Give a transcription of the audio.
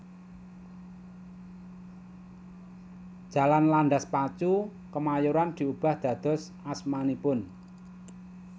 Jalan Landas Pacu Kemayoran diubah dados asmanipun